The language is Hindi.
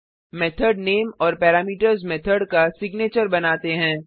मेथड नेम और पैरामीटर्स मेथड का सिग्नेचर बनाते हैं